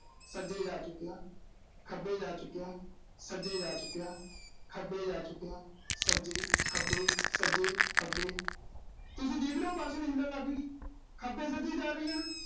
ਸੱਜੇ ਜਾ ਚੁੱਕਿਆ, ਖੱਬੇ ਜਾ ਚੁੱਕਿਆ। ਸੱਜੇ ਜਾ ਚੁੱਕਿਆ, ਖੱਬੇ ਜਾ ਚੁੱਕਿਆ। ਖੱਬੇ-ਸੱਜੇ, ਖੱਬੇ-ਸੱਜੇ, ਤੁਸੀਂ ਦੇਖ ਰਹੇ ਓਂ ਵੀ ਹਿੱਲਣ ਲਾਗੀ। ਖੱਬੇ-ਸੱਜੇ ਹੀ ਜਾ ਰਹੀ ਆ ਨਾ।